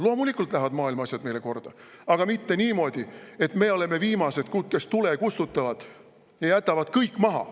Loomulikult lähevad maailma asjad meile korda, aga mitte niimoodi, et me oleme viimased, kes tule kustutavad ja jätavad kõik maha.